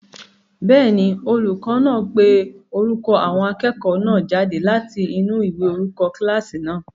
Bẹ́ẹ̀ni, olùkọ́ náà ń pe orúkọ àwọn akẹ́kọ̀ọ́ náà jáde láti inú ìwé orúkọ kílásì náà